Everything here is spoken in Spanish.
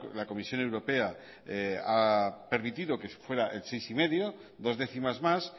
la comisión europea ha permitido que se fuera el seis coma cinco dos décimas más